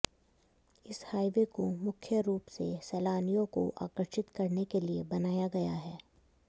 इस हाईवे को मुख्य रूप से सैलानियों को आकर्षित करने के लिए बनाया गया है